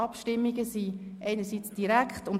Diese führen wir einerseits direkt durch.